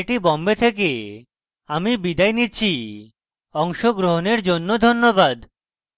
I I T Bombay থেকে আমি বিদায় নিচ্ছি অংশগ্রহনের জন্য ধন্যবাদ